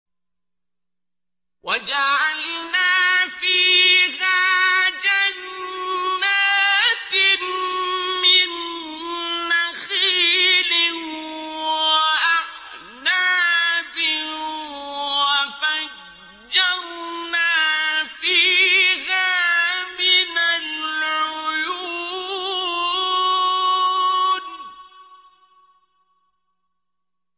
وَجَعَلْنَا فِيهَا جَنَّاتٍ مِّن نَّخِيلٍ وَأَعْنَابٍ وَفَجَّرْنَا فِيهَا مِنَ الْعُيُونِ